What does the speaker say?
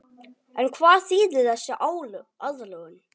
En hvað þýðir þessi aðlögun?